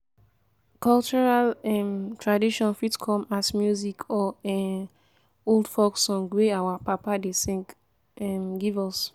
cultural um traditon fit come as music or um old folk song wey our papa dem sing um give us